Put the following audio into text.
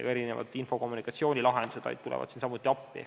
Ka info- ja kommunikatsioonilahendused tulevad siin appi.